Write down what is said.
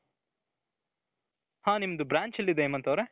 ಹ್ಮ್ ನಿಮ್ದು branch ಎಲ್ಲಿದೆ ಹೇಮಂತ್ ಅವರೇ ?